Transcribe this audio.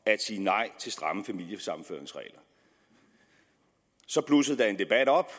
sige nej til stramme familiesammenføringsregler så blussede der en debat op